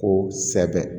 Ko sɛbɛ